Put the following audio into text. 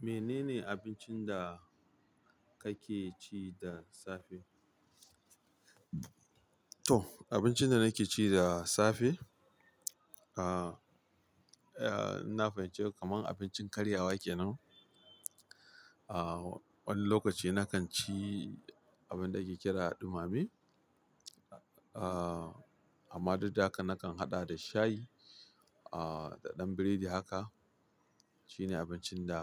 Menene abincin da kake ci da safe? To abincin da nake ci da safe, ah, eh, ina fahimci ka kaman abincin karyawa ke nan. Ah, wani lokaci nakan ci abin da ake kira dumame. Ah, amma duk da haka nakan haɗa da shayi, ah, da ɗan biredi haka. Shine abincin da